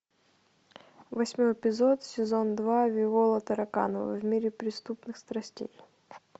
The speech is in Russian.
восьмой эпизод сезон два виола тараканова в мире преступных страстей